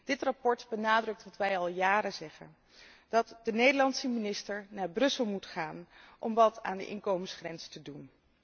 Dit verslag benadrukt wat wij al jaren zeggen, dat de Nederlandse minister naar Brussel moet gaan om wat aan de inkomensgrens te doen.